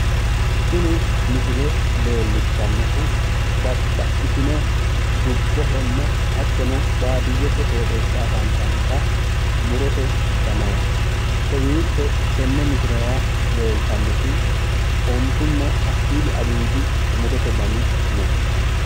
tini misile leellishshannohu babaxitino dubbohonna hattono baadiyete qooxeessira afantannota murote danaati kowiicho tenne misilera leeltannoti ontunna hakkuyi aliti dani murote dani no.